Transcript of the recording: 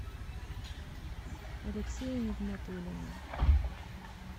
алексея нигматуллина